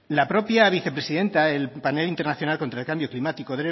la propia vicepresidenta del panel internacional contra el cambio climático